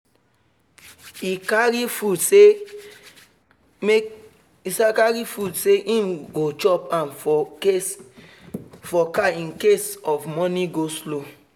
e carry food say him go chop am for car incase of morning go-slow